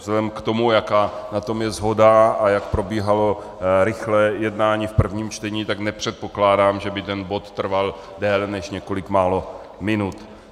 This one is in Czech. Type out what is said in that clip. Vzhledem k tomu, jaká na tom je shoda a jak probíhalo rychlé jednání v prvním čtení, tak nepředpokládám, že by ten bod trval déle než několik málo minut.